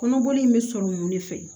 Kɔnɔboli in bɛ sɔrɔ mun de fɛ